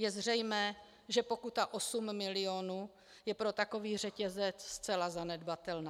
Je zřejmé, že pokuta osm milionu je pro takový řetězec zcela zanedbatelná.